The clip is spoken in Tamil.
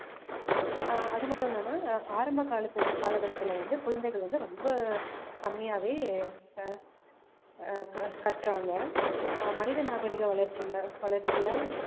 ஆஹ் அது மட்டும் இல்லாம ஆரம்ப காலத்து~ காலகட்டத்துல வந்து குழந்தைகள் வந்து ரொம்ப கம்மியாவே ஆஹ் ஆஹ் கற்றாங்க மனித நாகரிக வளர்ச்சில வளர்ச்சியில